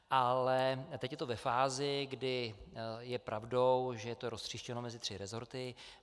A teď je to ve fázi, kdy je pravdou, že je to roztříštěno mezi tři resorty.